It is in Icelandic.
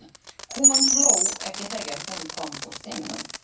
Hún hló ekki þegar hún kom úr símanum.